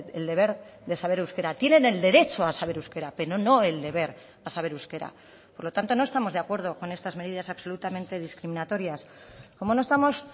el deber de saber euskera tienen el derecho a saber euskera pero no el deber a saber euskera por lo tanto no estamos de acuerdo con estas medidas absolutamente discriminatorias como no estamos